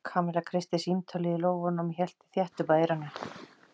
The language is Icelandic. Kamilla kreisti símtólið í lófanum og hélt því þétt upp að eyranu.